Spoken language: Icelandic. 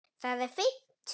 Það er fínt.